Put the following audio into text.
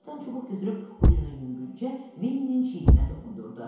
O yerdən çubuq götürüb ucunu yüngülcə Venninin çiyninə toxundurdu.